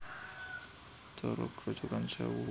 Curug Grojogan Sewu kalebu bageyan saka Hutan Wisata Grojogan Sèwu